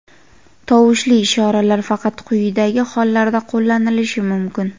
Tovushli ishoralar faqat quyidagi hollarda qo‘llanilishi mumkin:.